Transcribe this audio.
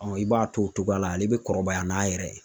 i b'a to o cogoya la ale bɛ kɔrɔbaya n'a yɛrɛ ye .